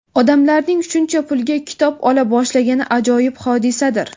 odamlarning shuncha pulga kitob ola boshlagani ajoyib hodisadir!.